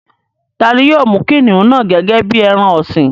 Tani yóò mú kìnìún náà gẹ́gẹ́ bí i ẹran ọ̀sìn?